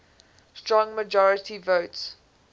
strong majority votes